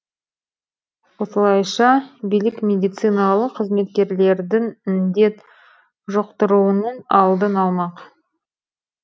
осылайша билік медициналық қызметкерлердің індет жұқтыруының алдын алмақ